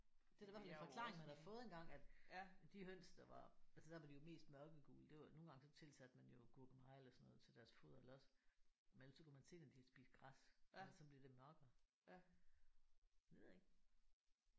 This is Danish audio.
Det er da i hvert fald en forklaring man har fået engang at de høns der var altså der var de jo mest mørkegule det var nogle gange så tilsatte man jo gurkemeje eller sådan noget til deres foder eller også men ellers så kunne man se når de havde spist græs at så blev det var mørkere. Det ved jeg ikke